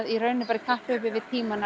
í rauninni bara í kapphlaupi við tímann